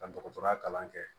Ka dɔgɔtɔrɔya kalan kɛ